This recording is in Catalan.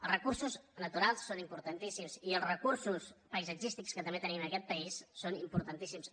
els recursos naturals són importantíssims i els recursos paisatgístics que també tenim en aquest país són importantíssims